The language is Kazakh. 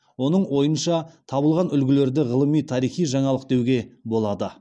оның ойынша табылған үлгілерді ғылыми тарихи жаңалық деуге болады